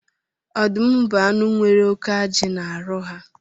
Ọdụm bu anụ nwere óké ajị na arụ ha